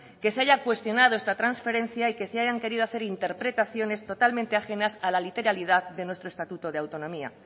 que se haya cuestionado esta transferencia y que se hayan querido hacer interpretaciones totalmente ajenas a la literalidad de nuestro estatuto de autonomía